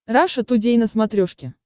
раша тудей на смотрешке